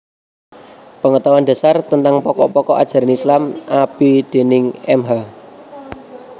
Pengetahuan Dasar tentang Pokok pokok Ajaran Islam A/B déning Mh